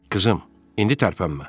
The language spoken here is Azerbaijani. Qızım, indi tərpənmə.